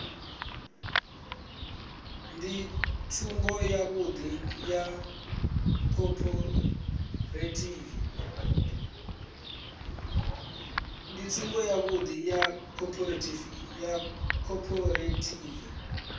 ndi tsumbo yavhuḓi ya khophorethivi